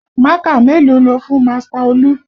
Mákà mélòó lo fún Master Olú?